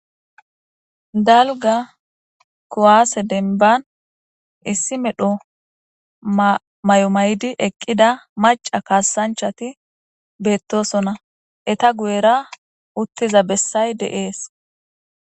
dalga kuwaase denban issi medho mayo maydi eqqida maca kaasanchati beettosona eta guyera uttiza bessay de'ees